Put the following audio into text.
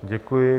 Děkuji.